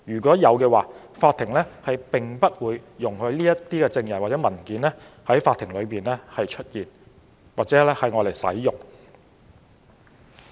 如有這種情況，法庭不會容許這些證人或文件在法庭出現或使用。